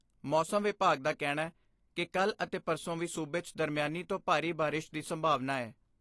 ਮੌਸਮ ਵਿਭਾਗ ਦਾ ਕਹਿਣੈ ਕਿ ਕੱਲ੍ਹ ਅਤੇ ਪਰਸੋਂ ਵੀ ਸੂਬੇ 'ਚ ਦਰਮਿਆਨੀ ਤੋਂ ਭਾਰੀ ਬਾਰਿਸ਼ ਦੀ ਸੰਭਾਵਨਾ ਐ।